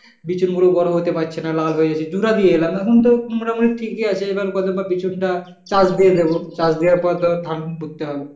বিচুনগুলো বড় হতে পারছে না লাল হয়ে গেছে। জুড়া দিয়ে এখন তোর মোটামুটি ঠিকি আছে এবার বছর পর বিচুনটা, চাষ দিয়ে দিব চাষ দেওয়ার পর ধান পুত্তে হবে।